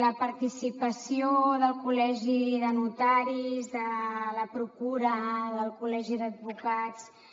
la participació del col·legi de notaris de la procura del col·legi d’advocats i